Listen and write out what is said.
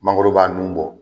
Mangoro b'a nun bɔ.